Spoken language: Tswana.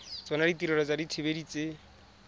tsona ditirelo tsa dithibedi tse